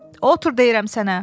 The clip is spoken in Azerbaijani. Otur deyirəm sənə.